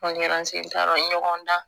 ɲɔgɔn dan